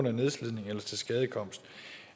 af nedslidning eller tilskadekomst